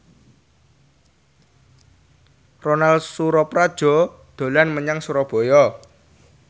Ronal Surapradja dolan menyang Surabaya